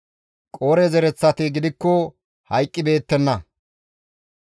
Qoore zereththati gidikko hayqqibeettenna.